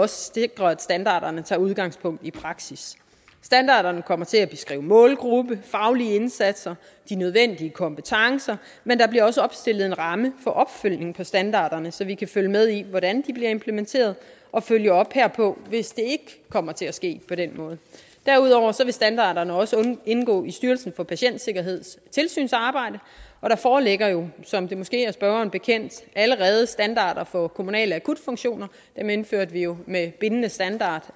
sikrer at standarderne tager udgangspunkt i praksis standarderne kommer til at beskrive målgruppe faglige indsatser de nødvendige kompetencer men der bliver også opstillet en ramme for opfølgning på standarderne så vi kan følge med i hvordan de bliver implementeret og følge op herpå hvis det ikke kommer til at ske på den måde derudover vil standarderne også indgå i styrelsen for patientsikkerheds tilsynsarbejde og der foreligger jo som det måske er spørgeren bekendt allerede standarder for kommunale akutfunktioner dem indførte vi jo med bindende standarder